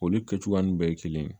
Olu kɛ cogoya ninnu bɛɛ ye kelen ye